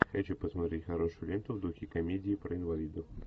хочу посмотреть хорошую ленту в духе комедии про инвалидов